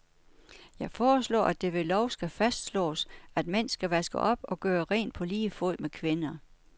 Jeg foreslår, at det ved lov skal fastslås, at mænd skal vaske op og gøre rent på lige fod med kvinder.